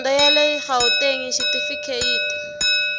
dyondzo ya le gauteng xitifikheyiti